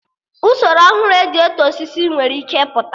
Usoro ọhụrụ eji eto osisi nwere ike ịpụta